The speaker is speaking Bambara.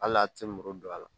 Hali a tɛ muru don a la